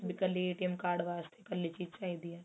B ਇੱਕਲੇ card ਵਾਸਤੇ ਇੱਕਲੀ ਚੀਜ ਚਾਹੀਦੀ ਏ